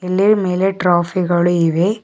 ಇಲ್ಲಿ ಮೇಲೆ ಟ್ರೋಫಿ ಗಳು ಇವೆ.